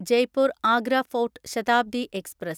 Jaipur Agra fort Shatabdi express